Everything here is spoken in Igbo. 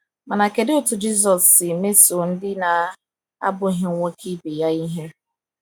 Mana kedụ otú Jisọs si mesoo ndị na - abụghị nwoke ibe ya ihe?